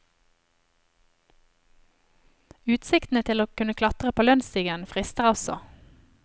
Utsiktene til å kunne klatre på lønnsstigen frister også.